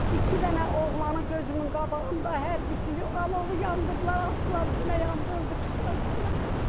İki dənə oğlanı gözümün qabağında, hərbçini, alovu yandırdılar, atdılar içinə yandı, öldü, qışqıra-qışqıra.